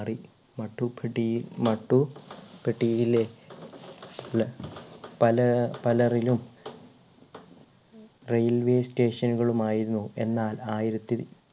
മാറി മാട്ടുപെട്ടിയിൽ മാട്ടുപെട്ടിയിലെ ലെ പല പലരിലും railway station നുകളും ആയിരുന്നു എന്നാൽ ആയിരത്തിൽ